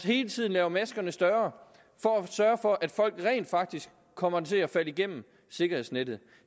hele tiden laver maskerne større for at sørge for at folk rent faktisk kommer til at falde gennem sikkerhedsnettet